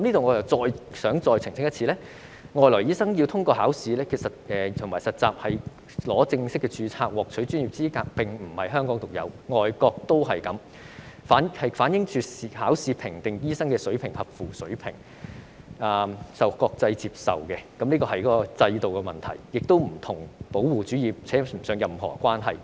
我想再一次澄清，海外醫生要通過考試和實習才可以正式註冊或獲取專業資格並非香港獨有，外國的做法相同，反映以考試評定醫生是否合乎水平是國際接受、公平合理的制度，與保護主義扯不上任何關係。